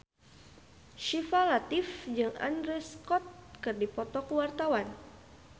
Syifa Latief jeung Andrew Scott keur dipoto ku wartawan